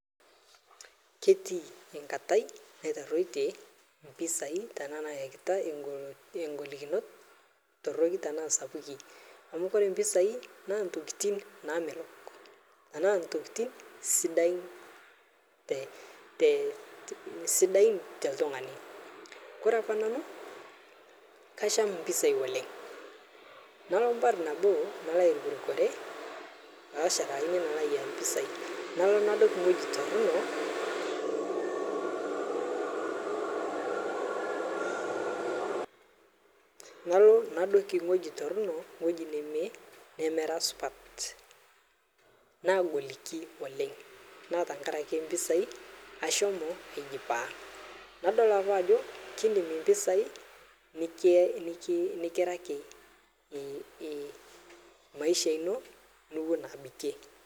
Ketii enkata naitarutie mpisai ashu golikinot sapukin amu ore mpisai naa ntokitin namelok enaaa ntokitin sidain too oltung'ani ore apa nanu naa kasham mpisai oleng Malo airukurukore nadoiki ewueji Torono ewueji neme nemera supat nagoliki oleng naa tenkaraki mpisai ashomo nadol apa Ajo kidim nikinyalaki mpisai maisha eno nigira abikie